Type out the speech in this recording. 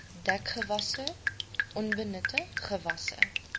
dekgewasse onbenutte gewasse